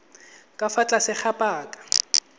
ka fa tlase ga paka